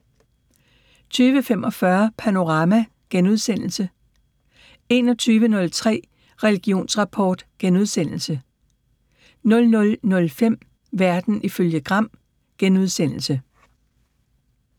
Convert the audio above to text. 20:45: Panorama * 21:03: Religionsrapport * 00:05: Verden ifølge Gram *